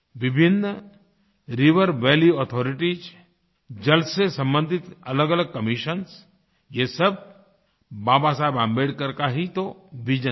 विभिन्न river valley authoritiesजल से संबंधित अलगअलग commissionsये सब बाबा साहब आम्बेडकर का ही तो विजन था